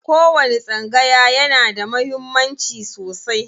Kowani tsangaya yana da muhimmanci sosai.